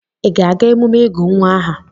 ị ga-aga emume ịgụ aha nwa?